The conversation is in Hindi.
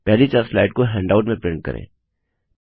पहली चार स्लाइड को हैण्डआउट में प्रिंट करें